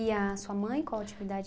a sua mãe, qual a atividade